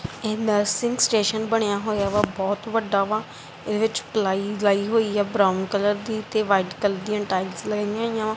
Nursing station ਬਣਿਆ ਹੋਇਆ ਵਾ ਬਹੁਤ ਵੱਡਾ ਵਾ ਇਹਦੇ ਵਿੱਚ ਲਾਈ ਹੋਈ ਆ ਬਰਾਊਨ ਕਲਰ ਦੀ ਤੇ ਵਾਈਟ ਕਲਰ ਦੀਆਂ ਟਾਇਲਸ ਲੱਗੀਆਂ ਹੋਈਆਂ ਆ।